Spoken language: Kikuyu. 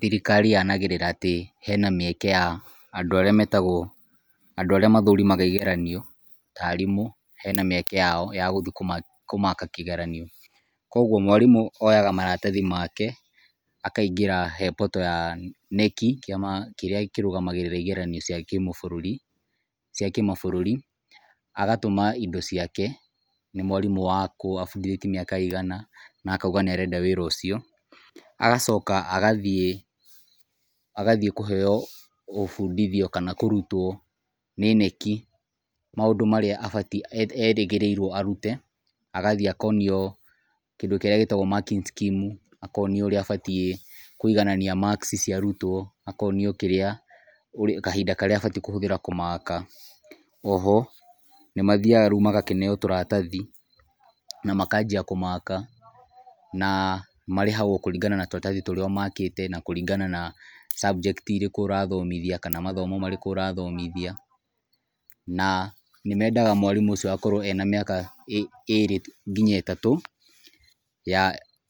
Thirikari yanagĩrĩra atĩ hena mĩeke ya andũ arĩa metagwo, andũ arĩa mathurimaga igeranio, ta arimũ, he na mĩeke yao ya gũthiĩ kũmaaka kĩgeranio. Koguo mwarimũ oyaga maratathi make, akaingĩra he portal ya KNEC, kĩama kĩrĩa kĩrũmagĩrĩra igeranio cia kĩmabũrũri, agatũma indo ciake, nĩ mwarimũ wa kũ, abundithĩtie mĩaka igana na akauga nĩ arenda wĩra ũcio, agacoka agathiĩ agathiĩ kũheo gũbundithio kana kũrutwo nĩ KNEC maũndũ marĩa abatiĩ erĩgĩrĩirwo arute, agathiĩ akonio kĩndũ kĩrĩa gĩtagwo marking scheme, akonio ũrĩa abatiĩ kũiganania marks cia arutwo, akonio kĩrĩa, kahinda karĩa abataĩ kũhũthĩra kũmaaka. Oho, nĩ mathiaga rĩu magakĩneo tũratathi na makanjia kũmaaka na marĩhagwo kũringana na tũratathi tũrĩa ũmakĩte na kũringana na subject irĩkũ ũrathomithia, kana mathomo marĩkũ ũrathomithia. Na nĩmendaga mwarimũ ũcio agakorwo ena mĩaka ĩrĩ nginya ĩtatũ